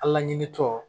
A laɲini tɔ